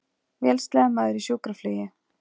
Vélsleðamaður í sjúkraflugi